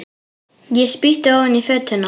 Ég spýti ofan í fötuna.